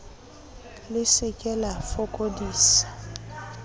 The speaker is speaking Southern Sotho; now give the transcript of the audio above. le se ke la fokodisa